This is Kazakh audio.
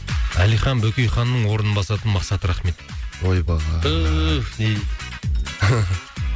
әлихан бөкейханның орнын басатын мақсат рахмет ойбай түф не дейді